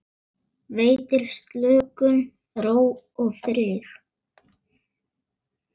Veitir slökun, ró og frið.